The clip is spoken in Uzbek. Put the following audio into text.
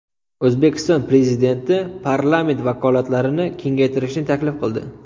O‘zbekiston Prezidenti parlament vakolatlarini kengaytirishni taklif qildi.